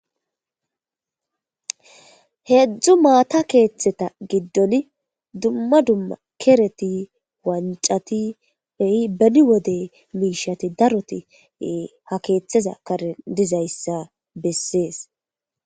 Heedzdzu maata keeththeta giddon dumma dumma kereti wancati beyi beni wode miishati daroti ha keeththeza karen dizayssa bessees.